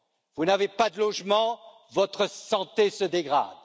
Vous n'avez pas de logement, votre santé se dégrade.